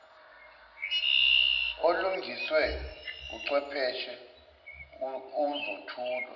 olungiswe uchwepheshe uzothulwa